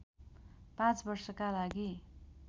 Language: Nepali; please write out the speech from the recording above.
पाँच वर्षका लागि